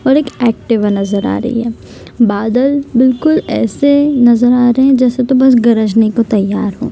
और एक एक्टिवा नजर आ रही है बादल बिलकुल ऐसे नजर आ रहे है जैसे की गरजने को तैयार हो।